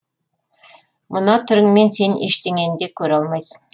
мына түріңмен сен ештеңені де көре алмайсың